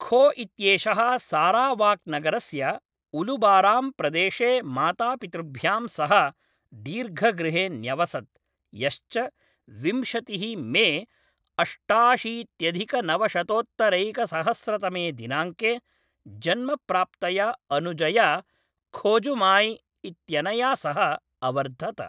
खो इत्येषः सारावाक्नगरस्य उलुबाराम् प्रदेशे मातापितृभ्यां सह दीर्घगृहे न्यवसत्, यश्च विंशतिः मे अष्टाशीत्यधिकनवशतोत्तरैकसहस्रतमे दिनाङ्के जन्म प्राप्तया अनुजया खोजुमाई इत्यनया सह अवर्धत।